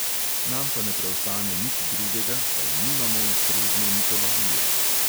Nam pa ne preostane nič drugega, saj nimamo ustrezne mitologije.